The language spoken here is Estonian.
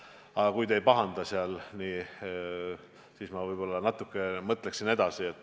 Aga kui te ei pahanda, siis ma võib-olla natuke mõtleksin edasi.